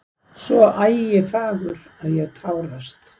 Svo ægifagur að ég tárast.